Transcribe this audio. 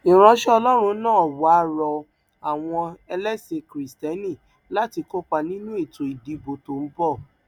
ìránṣẹ ọlọrun náà wàá rọ àwọn ẹlẹsìn kristẹni láti kópa nínú ètò ìdìbò tó ń bọ